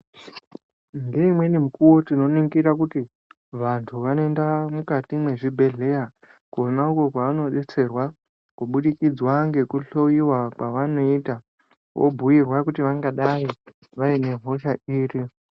Ngeimweni mukuwo tinoningira kuti vantu vanoenda mukati mwezvibhedhleya kona uko kwavanodetserwa kubudikidzwa ngekuhloyiwa kwavanoita obhuirwa kuti vangadai vaine hosha iri.